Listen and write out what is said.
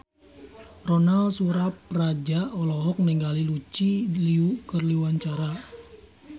Ronal Surapradja olohok ningali Lucy Liu keur diwawancara